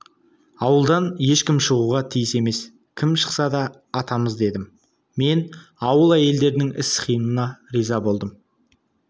ауылдан ешкім шығуға тиіс емес кім шықса да атамыз дедім мен ауыл әйелдерінің іс-қимылына риза болдым